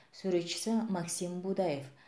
суретшісі максим будаев